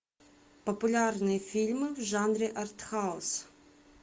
популярные фильмы в жанре артхаус